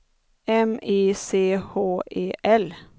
M I C H E L